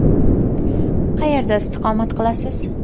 Qayerda istiqomat qilasiz?